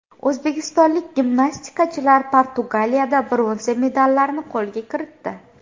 O‘zbekistonlik gimnastikachilar Portugaliyada bronza medallarni qo‘lga kiritdi.